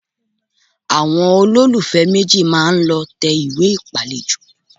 Àwọn olólùfẹ́ méjì máa lọ tẹ ìwé ìpàlejò